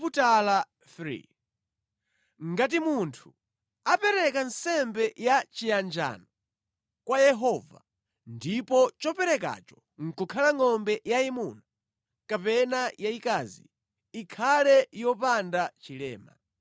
“ ‘Ngati munthu apereka nsembe ya chiyanjano kwa Yehova, ndipo choperekacho nʼkukhala ngʼombe yayimuna kapena yayikazi, ikhale yopanda chilema.